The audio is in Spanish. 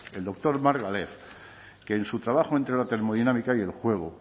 el doctor margalef que en su trabajo entre la termodinámica y el juego